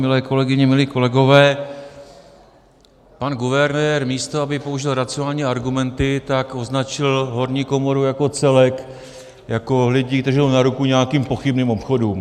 Milé kolegyně, milí kolegové, pan guvernér, místo aby použil racionální argumenty, tak označil horní komoru jako celek jako lidi, kteří jdou na ruku nějakým pochybným obchodům.